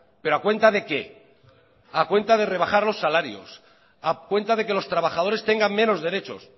pero a cuenta de qué a cuenta de rebajar los salarios a cuenta de que los trabajadores tengan menos derechos